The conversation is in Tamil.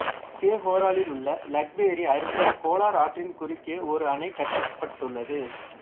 சேஹோரிலுள்ள லக்வெரி அருகே கோலார் ஆற்றின் குறுக்கே ஒரு அணை கட்டப்பட்டுள்ளது